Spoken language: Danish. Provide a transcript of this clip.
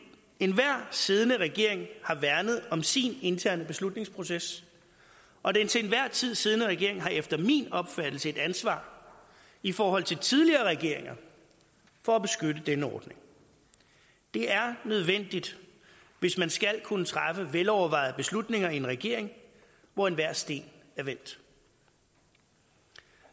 enhver siddende regering har værnet om sin interne beslutningsproces og den til enhver tid siddende regering har efter min opfattelse et ansvar i forhold til tidligere regeringer for at beskytte denne ordning det er nødvendigt hvis man skal kunne træffe velovervejede beslutninger i en regering hvor enhver sten er vendt